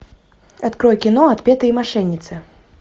открой кино отпетые мошенницы